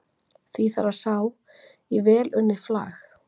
því þarf að sá í vel unnið flag